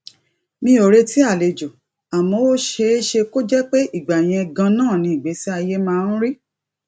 mi ò retí àlejò àmó ó ṣeé ṣe kó jé pé ìgbà yẹn ganan ni ìgbésí ayé máa ń rí